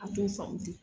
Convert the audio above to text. A t'o faamu de